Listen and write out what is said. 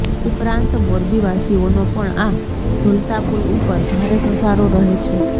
ઉપરાંત મોરબીવાસીઓનો પણ આ ઝુલતાપુલ ઉપર ભારે ઘસારો રહે છે